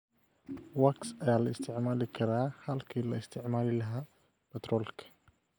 Wax ayaa la isticmaali karaa halkii laga isticmaali lahaa batroolka.